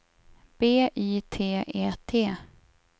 B Y T E T